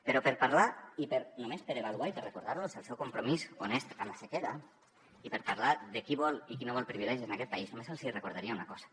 però per parlar i només per avaluar i per recordar los el seu compromís honest amb la sequera i per parlar de qui vol i qui no vol privilegis en aquest país només els hi recordaria una cosa